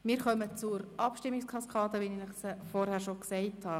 Wir kommen zur Abstimmungskaskade, wie ich Sie Ihnen bekannt gegeben habe.